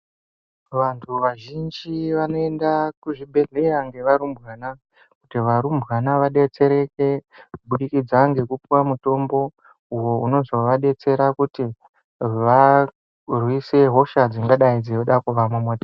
Vantu vazhinji vanoenda kuzvibhehleya nge varumbwana kuti varubwana vadetsereke kubudikidza ngekupiwa mutombo uyo unozovadetsera kuti varwise hosha dzingadai dzinoda kuvamomotera.